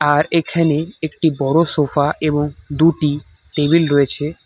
আর এখানে একটি বড়ো সোফা এবং দুটি টেবিল রয়েছে।